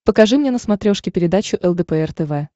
покажи мне на смотрешке передачу лдпр тв